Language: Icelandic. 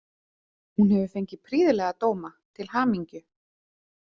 Hún hefur fengið prýðilega dóma, til hamingju.